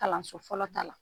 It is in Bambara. Kalanso fɔlɔ ta la.